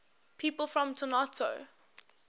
people from toronto